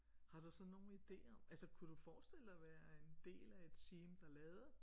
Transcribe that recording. Har du så nogen idé om altså kunne du forestille dig at være en del af et team der lavede